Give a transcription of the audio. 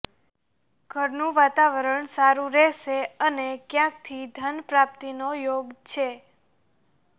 ઘરનું વાતાવરણ સારુ રહેશે અને ક્યાંકથી ધન પ્રાપ્તિનો યોગ છે